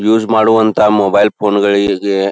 use ಮಾಡುವಂತ mobile ಫೋನ್ಗಳಿಗೆ --